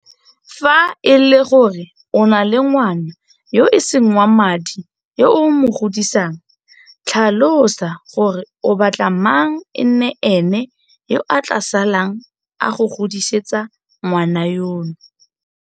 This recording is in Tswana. Fa e le gore o na le ngwana yo e seng wa madi yo o mo godisang, tlhalosa gore o batla mang e nne ene yo a tla salang a go godisetsa ngwana yono.